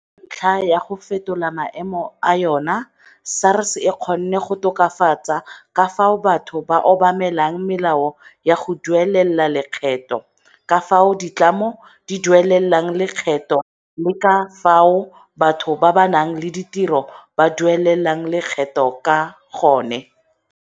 Ka ntlha ya go fetola maemo a yona SARS e kgonne go tokafatsa ka fao batho ba obamelang melao ya go duelela lekgetho, ka fao ditlamo di duelelang lekgetho le ka fao batho ba ba nang le ditiro ba duelelang lekgetho ka gone.